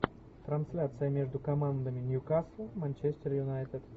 трансляция между командами ньюкасл манчестер юнайтед